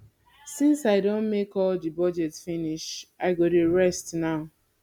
since i don make all the budget finish i go dey rest now